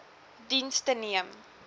diens the neem